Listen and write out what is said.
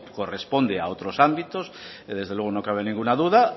corresponde a otros ámbitos que desde luego no cabe ninguna duda